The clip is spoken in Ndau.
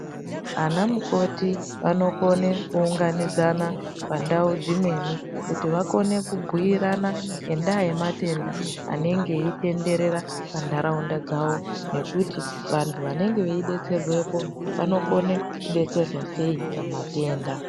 Anamukoti vanokone kuunganidzana pandau dzimweni ,kuti vakone kubhiirana ngendaa yematenda anenge eitenderera pantaraunda dzavo, nekuti vantu vanenge veidetserwepo vanokone kudetserwa sei pamatenda.